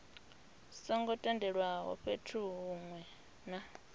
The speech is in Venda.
songo tendelwaho fhethu hunwe na